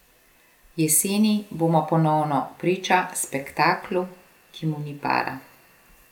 Jeseni bomo ponovno priča spektaklu, ki mu ni para.